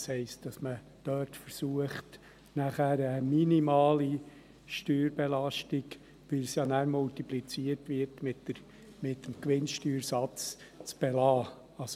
Das heisst, dass man dort eine minimale Steuerbelastung zu belassen versucht, die nachher mit dem Gewinnsteuersatz multipliziert wird.